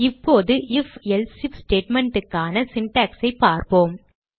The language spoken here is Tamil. இப்போது IfElse ஐஎஃப் statement க்கான syntax ஐ பார்க்கலாம்